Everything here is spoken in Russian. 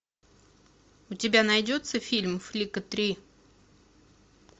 у тебя найдется фильм флика три